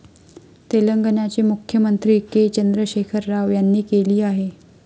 तेलंगणाचे मुख्यमंत्री के. चंद्रशेखर राव यांनी केली आहे.